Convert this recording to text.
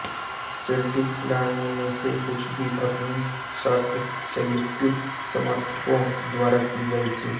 Celtic खिलाड़ियों में से कुछ भी अपनी शर्ट सेल्टिक समर्थकों द्वारा की गई थी